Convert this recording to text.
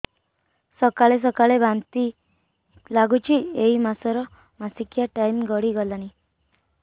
ସକାଳେ ସକାଳେ ବାନ୍ତି ଲାଗୁଚି ଏଇ ମାସ ର ମାସିକିଆ ଟାଇମ ଗଡ଼ି ଗଲାଣି